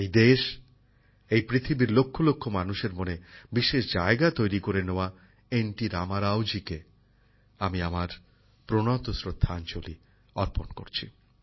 এই দেশ এই পৃথিবীর লক্ষ লক্ষ মানুষের মনে বিশেষ জায়গা তৈরি করে নেওয়া এন টি রামারাওজিকে আমি আমার আন্তরিক শ্রদ্ধাঞ্জলি অর্পণ করছি